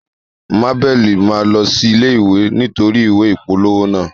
Mabel ma lọ sí ilé ìwé nítorí ìwé ìpolówó naa.